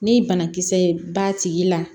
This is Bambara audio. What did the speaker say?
Ni banakisɛ ye b'a tigi la